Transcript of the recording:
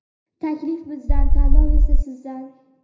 Taklif bizdan, tanlov esa sizdan!.